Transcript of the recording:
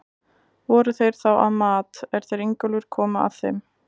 Voru þeir þá að mat, er þeir Ingólfur komu að þeim.